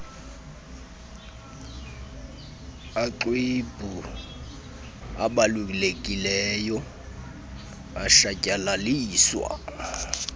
amxwebhu abalulekileyo awatshatyalaliswa